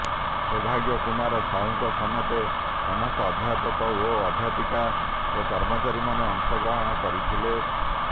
ସୌଭାଗ୍ୟ କୁମାର ସାହୁଙ୍କ ସମେତ ସମସ୍ତ ଅଧ୍ୟାପକ ଓ ଅଧ୍ୟାପିକା ଓ କର୍ମଚାରୀମାନେ ଅଂଶ ଗ୍ରହଣ କରିଥିଲେ